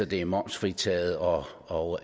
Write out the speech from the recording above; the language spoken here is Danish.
det er momsfritaget og og